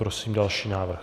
Prosím další návrh.